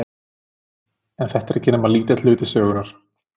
En þetta er ekki nema lítill hluti sögunnar.